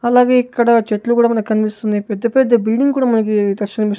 అలాగే ఇక్కడ చెట్లు గుడా మనకన్పిస్తున్నాయి పెద్ద పెద్ద బిల్డింగ్ కూడా మనకి --